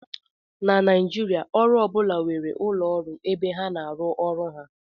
Na Naijiria, ọrụ ọ bụla nwere ụlọ ọrụ ebe ha na-arụ ọrụ ha